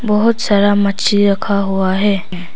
बहुत सारा मछली रखा हुआ है।